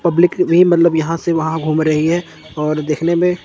public भी मतलब यहां से वहां घूम रही है और देखने में--